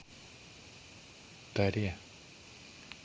таре